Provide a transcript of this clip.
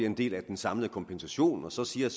en del af den samlede kompensation så siger